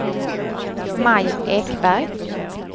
Maj Ekberg